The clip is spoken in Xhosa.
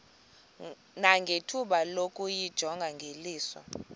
nangethuba lokuyijonga ngeliso